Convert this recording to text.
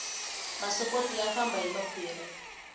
masokoti ya famba hi makhwiri